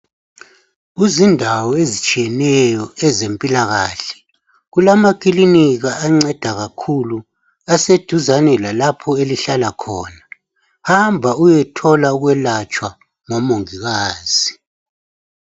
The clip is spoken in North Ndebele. Kuzindawo ezitshiyeneyo ezemphillakahle kulamakilinika anceda kakhulu aseduzane lalapho elihlala khona. Hamba uyethola ukwelatshwa ngomungikazi.